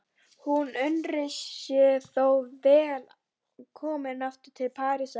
Hún unir sér þó vel komin aftur til Parísar.